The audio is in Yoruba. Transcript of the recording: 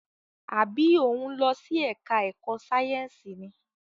Àbí o ń lọ sí ẹka ẹ̀kọ́ sáyẹnsì ni?